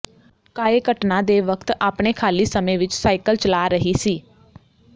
ਕਾਏ ਘਟਨਾ ਦੇ ਵਕਤ ਆਪਣੇ ਖਾਲੀ ਸਮੇਂ ਵਿੱਚ ਸਾਇਕਲ ਚਲਾ ਰਹੀ ਸੀ